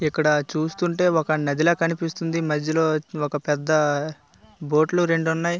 ఇక్కడ చూస్తుంటే ఒక నది లా కనిపిస్తుంది మధ్యలో ఒక పెద్ద బోట్ లు రెండున్నాయి.